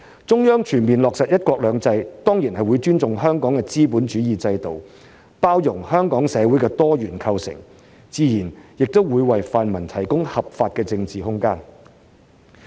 中央全面落實"一國兩制"，當然會尊重香港的資本主義制度，包容香港社會的多元構成，自然也為泛民提供合法的政治空間。